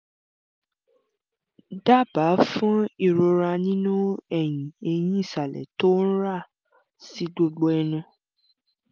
dábàá fún ìrora nínú eyín ẹ̀hin ìsàlẹ̀ tó ń ra sí gbogbo ẹnu